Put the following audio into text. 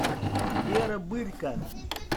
вера бырько